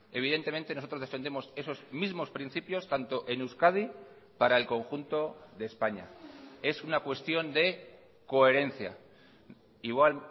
evidentemente nosotros defendemos esos mismos principios tanto en euskadi para el conjunto de españa es una cuestión de coherencia igual